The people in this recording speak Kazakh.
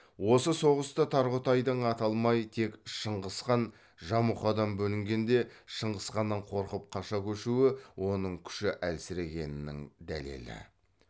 осы соғыста тарғұтайдың аталмай тек шыңғысхан жамұқадан бөлінгенде шыңғысханнан қорқып қаша көшуі оның күші әлсірегенінің дәлелі